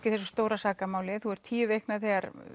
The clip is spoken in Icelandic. í þessu stóra sakamáli þú ert tíu vikna þegar